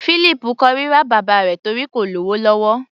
Fílípù kórira bàbá rẹ̀ torí kò lówó lọ́wọ́.